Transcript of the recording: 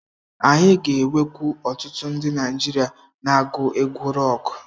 Anyị ga-enwekwu ọtụtụ ndi Naijiria na-agu egwu rọkụ.